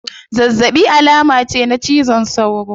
Zazzabi alama ce na cizon sauro